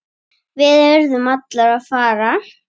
Við urðum allir að fara.